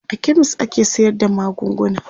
a chemist ake sayar da magunguna